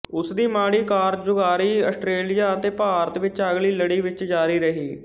ਉਸ ਦੀ ਮਾੜੀ ਕਾਰਗੁਜ਼ਾਰੀ ਆਸਟ੍ਰੇਲੀਆ ਅਤੇ ਭਾਰਤ ਵਿੱਚ ਅਗਲੀ ਲੜੀ ਵਿੱਚ ਜਾਰੀ ਰਹੀ